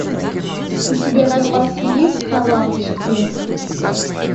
у тебя в запасе есть кровавый четверг